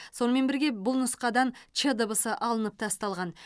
сонымен бірге бұл нұсқадан ч дыбысы алынып тасталған